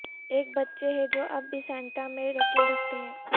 ایک بچے ہے جو اب بھی سانتا میں یقین رکھتے ہیں